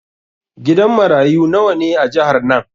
Gidan marayu nawa ne a jihar nan?